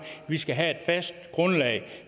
vi skal have et fast grundlag at